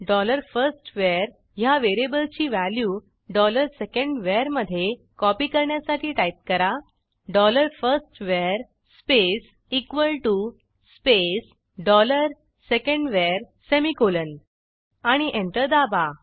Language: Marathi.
डॉलर फर्स्टवर ह्या व्हेरिएबलची व्हॅल्यू डॉलर secondVarमधे कॉपी करण्यासाठी टाईप करा dollar first var space equal to space dollar second var semicolon आणि एंटर दाबा